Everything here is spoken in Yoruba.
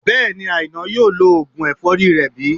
Bẹ́ẹ̀ni, Àìná yóò lo oògùn ẹ̀fọ́rí rẹ̀ bí